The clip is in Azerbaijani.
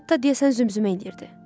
Hətta deyəsən zümzümə eləyirdi.